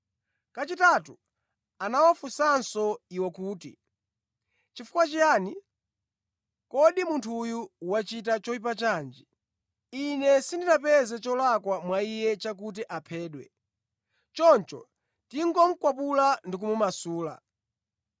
Kachitatu anawafunsanso iwo kuti, “Chifukwa chiyani? Kodi munthu uyu wachita choyipa chanji? Ine sindinapeze cholakwa mwa Iye chakuti aphedwe choncho ndingomukwapula ndi kumumasula.”